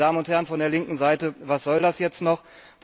Meine Damen und Herren von der linken Seite, was soll das jetzt noch?